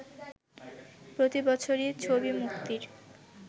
প্রতি বছরই ছবি মুক্তির